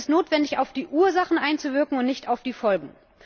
Es ist notwendig, auf die Ursachen einzuwirken und nicht auf die Folgen.